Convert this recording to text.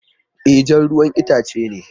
E, jan ruwan itace ne